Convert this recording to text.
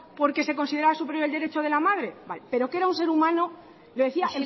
porque se consideraba superior el derecho de la madre vale pero que era un ser humano lo decía